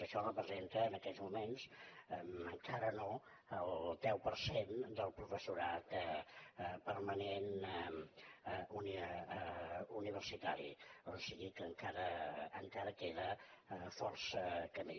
això representa en aquests moments encara no el deu per cent del professorat permanent universitari o sigui que encara queda força camí